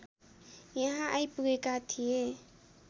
यहाँ आइपुगेका थिए